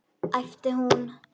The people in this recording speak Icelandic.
æpti hún.